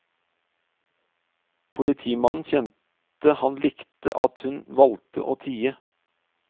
Politimannen kjente han likte at hun valgte å tie.